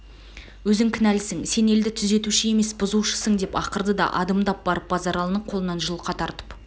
өзің кінәлісің сен елді түзетуші емес бұзушысың деп ақырды да адымдап барып базаралыны қолынан жұлқа тартып